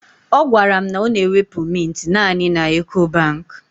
She told me that she use to withdraw mints only in Ecobank